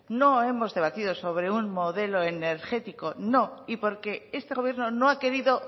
no hemos debatido sobre un modelo energético no y porque este gobierno no ha querido